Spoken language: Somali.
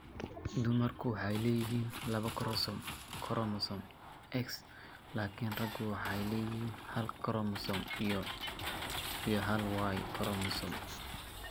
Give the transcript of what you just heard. Dumarku waxay leeyihiin laba koromosoom X, laakiin raggu waxay leeyihiin hal X koromosoom iyo hal Y koromosoom.